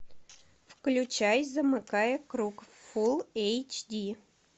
включай замыкая круг фул эйчди